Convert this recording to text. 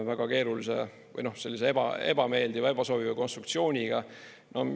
Väga keerulise või sellise ebaebameeldiva, ebasoovitava konstruktsiooniga.